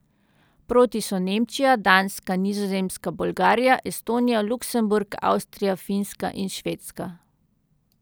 Proti so Nemčija, Danska, Nizozemska, Bolgarija, Estonija, Luksemburg, Avstrija, Finska in Švedska.